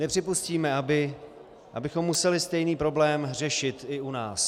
Nepřipustíme, abychom museli stejný problém řešit i u nás.